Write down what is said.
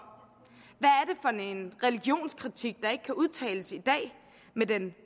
en religionskritik der ikke kan udtales i dag med den